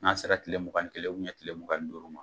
N'a sera tile mugan ni kelen tile mugan ni duuru ma.